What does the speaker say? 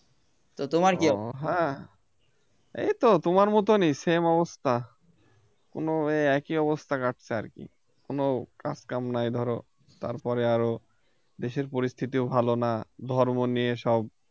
হ্যাঁ এইতো তোমার মতনই same অবস্থা কোন একই অবস্থা কাটছে আর কি কোন কাজ কাম নাই ধরো তারপরে আরো দেশের পরিস্থিতিও ভালো না ধর্ম নিয়ে সব